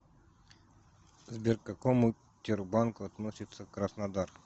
сбер к какому тербанку относится краснодар